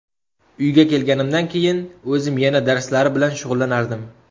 Uyga kelganimdan keyin o‘zim yana darslari bilan shug‘ullanardim.